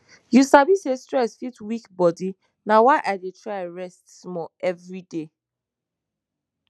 you sabi say stress fit weak bodi na why i dey try rest small every day